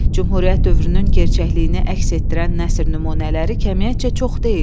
Cümhuriyyət dövrünün gerçəkliyini əks etdirən nəsr nümunələri kəmiyyətcə çox deyil.